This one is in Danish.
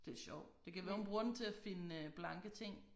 Det sjovt det kan være hun bruger den til at finde øh blanke ting